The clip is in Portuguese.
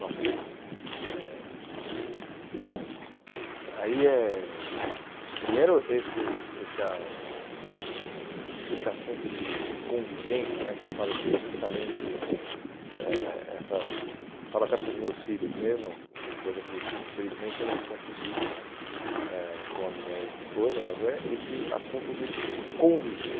Bom, eh bom aí é primeiro esse essa esse assunto de de convivência né, que eu falo que é justamente, eh essa falo até para os meus filhos mesmo, uma coisa que infelizmente eu não consegui eh com a minha ex-esposa, mas é esse assunto do conviver.